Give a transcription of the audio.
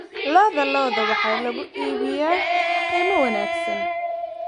Lo'da lo'da waxaa lagu iibiyaa qiimo wanaagsan